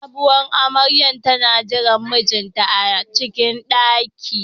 Sabowar amaryar tana jiran mijinta a cikin ɗaki.